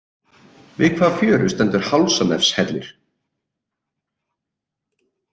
Við hvaða fjöru stendur Hálsanefshellir?